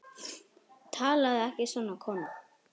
Talaðu ekki svona, kona!